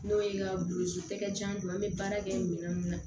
N'o ye n ka an bɛ baara kɛ minɛn mun na